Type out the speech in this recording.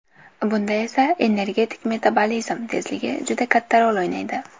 Bunda energetik metabolizm tezligi juda katta rol o‘ynaydi.